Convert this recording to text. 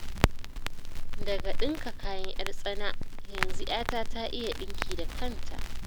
Daga ɗinka kayan 'yar tsana, yanzu 'yata ta iya ɗinki da kanta.